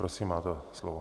Prosím, máte slovo.